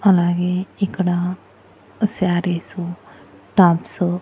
అలాగే ఇక్కడ సారీసు టాప్స్ .